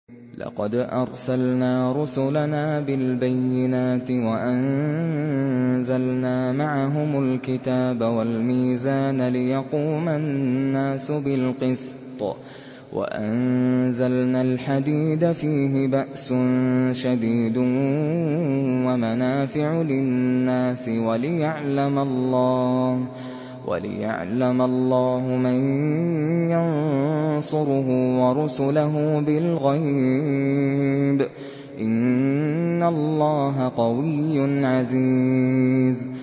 لَقَدْ أَرْسَلْنَا رُسُلَنَا بِالْبَيِّنَاتِ وَأَنزَلْنَا مَعَهُمُ الْكِتَابَ وَالْمِيزَانَ لِيَقُومَ النَّاسُ بِالْقِسْطِ ۖ وَأَنزَلْنَا الْحَدِيدَ فِيهِ بَأْسٌ شَدِيدٌ وَمَنَافِعُ لِلنَّاسِ وَلِيَعْلَمَ اللَّهُ مَن يَنصُرُهُ وَرُسُلَهُ بِالْغَيْبِ ۚ إِنَّ اللَّهَ قَوِيٌّ عَزِيزٌ